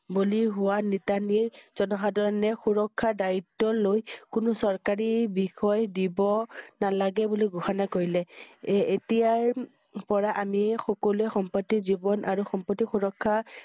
বলি হোৱা নিতনিৰ জনসাধাৰণে সুৰক্ষাৰ দায়িত্ব লৈ কোনো চৰকাৰী~বিষয় দিব~নালাগে বুলি ঘোষণা কৰিলে। এই~এতিয়াৰ পৰা আমি সকলোৱে সম্পত্তি জীৱন আৰু সম্পত্তি সুৰক্ষা